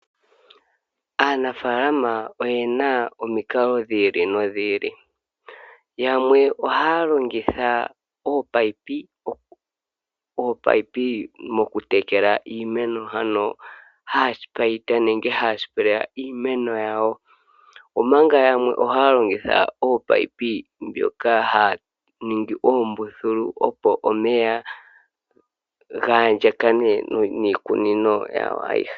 Aanafaalama oyena omikalo dhi ili nodhi ili. Yamwe ohaya longitha ominino mokutekela iimeno ano haa spaita nenge haa sipeleya iimeno yawo. Omanga yamwe ohaya longitha ominino ndhoka haa ningi oombululu opo omeya ga andjakane niikunino yawo ayihe.